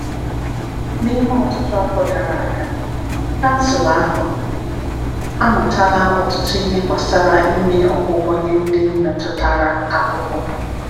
N’ime ọtụtụ afọ gara aga, kansụl ahụ amụtala ọtụtụ ihe gbasara ime ọgwụgwọ nye ndị metụtara ahụhụ.